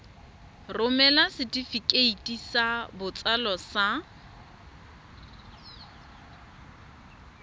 romela setefikeiti sa botsalo sa